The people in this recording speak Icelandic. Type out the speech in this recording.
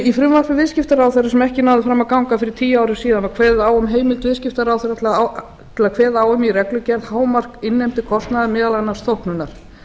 í frumvarpi viðskiptaráðherra sem ekki náði fram að ganga fyrir tíu árum síðan var kveðið á um heimild viðskiptaráðherra til að kveða á um reglugerð hámark innheimtukostnaðar meðal annars þóknunar